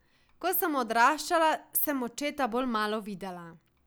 Ko sem odraščala, sem očeta bolj malo videla.